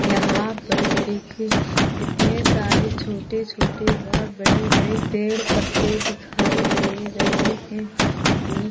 यहा पर देखिये कितने सारे छोटे-छोटे वा बड़े-बड़े पेड़-पत्थे दिखाई दे रहे है --